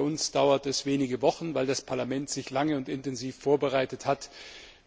bei uns dauert es wenige Wochen weil das Parlament sich lange und intensiv vorbereit hat